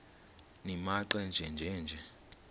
nimaqe nenje nje